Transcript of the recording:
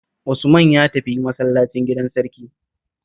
Usman ya tafi masallacin gidan sarki